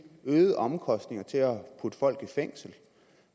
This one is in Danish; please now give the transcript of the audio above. øgede omkostninger til at putte folk i fængsel